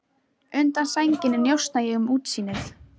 Undan sænginni njósna ég um útsýnið.